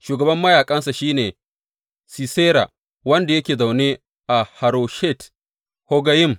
Shugaban mayaƙansa shi ne Sisera, wanda yake zaune a Haroshet Haggoyim.